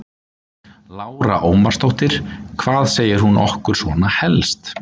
Lára Ómarsdóttir: Hvað segir hún okkur svona helst?